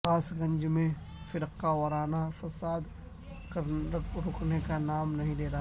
کاس گنج میں فرقہ وارانہ فساد رکنے کا نام نہیں لے رہا